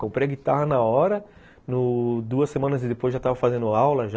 Comprei a guitarra na hora, no, duas semanas e depois já estava fazendo aula já.